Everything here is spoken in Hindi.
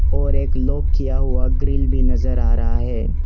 और एक लॉक किया हुआ ग्रिल भी नजर आ रहा है।